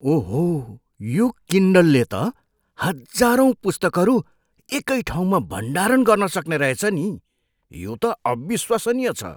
ओहो, यो किन्डलले त हजारौँ पुस्तकहरू एकै ठाउँमा भण्डारण गर्न सक्ने रहेछ नि। यो त अविश्वसनीय छ!